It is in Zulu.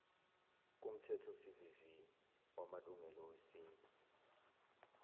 kumthethosivivinywa wamalungelo esintu